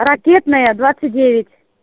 ракетная двадцать девять